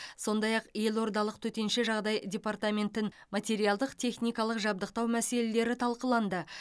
сондай ақ елордалық төтенше жағдай департаментін материалдық техникалық жабдықтау мәселелері талқыланды